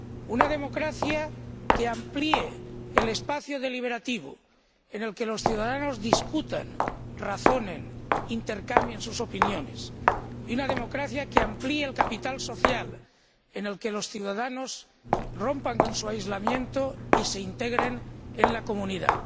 una democracia que amplíe el espacio deliberativo, en el que los ciudadanos discutan, razonen, intercambien sus opiniones, y una democracia que amplíe el capital social, en el que los ciudadanos rompan con su aislamiento y se integren en la comunidad.